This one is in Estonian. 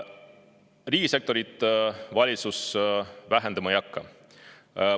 Riigisektorit valitsus vähendama ei hakka.